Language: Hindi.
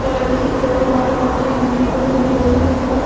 कलर की है और लाल पट्टी बनी हुई है उसके ऊपर--